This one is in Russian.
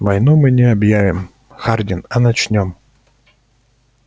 войну мы не объявим хардин а начнём